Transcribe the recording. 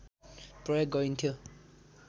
प्रयोग गरिन्थ्यो